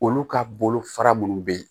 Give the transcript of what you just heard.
Olu ka bolofara minnu bɛ yen